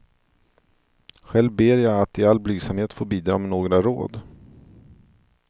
Själv ber jag att i all blygsamhet få bidra med några råd.